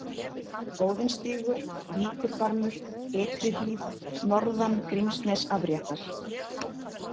Óðinsstígur, Víkurbarmur, Ytrihlíð, Norðan Grímsnesafréttar